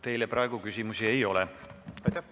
Teile praegu küsimusi ei ole.